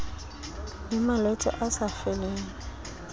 le malwetse a sa feleng